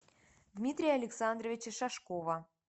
дмитрия александровича шашкова